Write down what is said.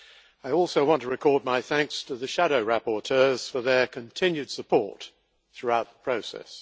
I also want to record my thanks to the shadow rapporteurs for their continued support throughout the process.